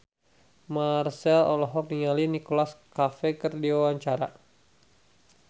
Marchell olohok ningali Nicholas Cafe keur diwawancara